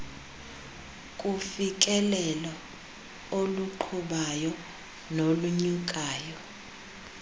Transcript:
kufikelelo oluqhubayo nolunyukayo